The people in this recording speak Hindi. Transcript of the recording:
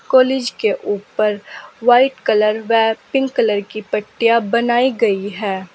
कॉलेज के ऊपर व्हाइट कलर वह पिंक कलर की पट्टियां बनाई गई हैं।